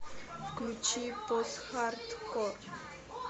включи постхардкор